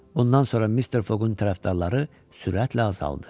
Bundan sonra Mister Foqun tərəfdarları sürətlə azaldı.